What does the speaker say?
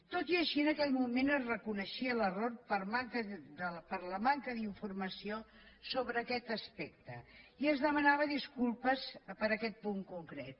tot i així en aquell moment es reconeixia l’error per la manca d’informació sobre aquest aspecte i es demanava disculpes per aquest punt concret